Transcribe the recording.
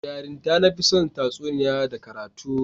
Da yarinta, na fi son tatsuniya da karatu